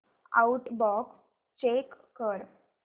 outbox check कर